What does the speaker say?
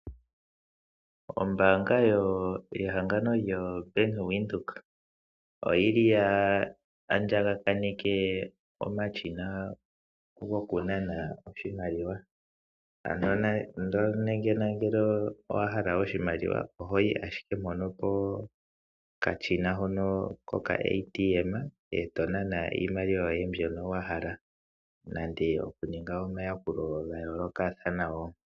Ombaanga ye hangano lyo bank windhoek oyili ya andja ga paleke omashina haga nanwa oshimaliwa. Ngele owahala oshimaliwa ohoyi ashike peshina ndjoka lyombaanga eto nana iimaliwa yoye mbyoka wahala nande oku ninga omayakulo ga yoolokathana woo.